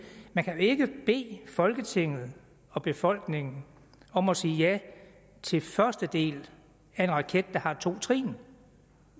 man kan jo ikke bede folketinget og befolkningen om at sige ja til første del af en raket der har to trin